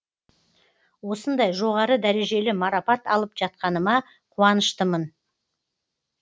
осындай жоғары дәрежелі марапат алып жатқаныма қуыныштымын